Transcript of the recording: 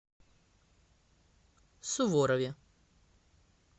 суворове